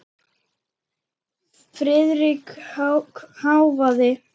Friðrik hváði.